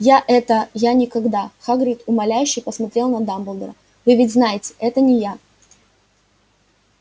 я это я никогда хагрид умоляюще посмотрел на дамблдора вы ведь знаете это не я